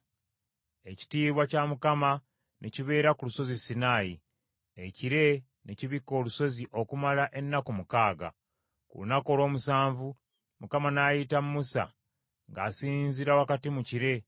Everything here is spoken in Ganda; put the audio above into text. Ekitiibwa kya Mukama ne kibeera ku Lusozi Sinaayi. Ekire ne kibikka olusozi okumala ennaku mukaaga; ku lunaku olw’omusanvu Mukama n’ayita Musa ng’asinziira wakati mu kire.